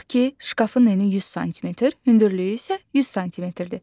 Tut ki, şkafın eni 100 sm, hündürlüyü isə 100 sm-dir.